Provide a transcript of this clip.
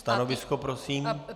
Stanovisko prosím.